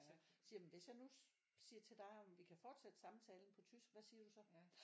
Siger jeg hvis jeg nu siger til dig om vi kan forsætte samtalen på tysk hvad siger du så